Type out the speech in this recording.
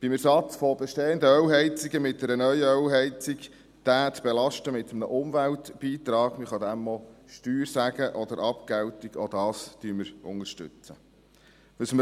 Den Ersatz von bestehenden Ölheizungen durch eine neue Ölheizung mit einem Umweltbeitrag zu belasten– man kann dem auch Steuer sagen oder Abgeltung –, auch das unterstützen wir.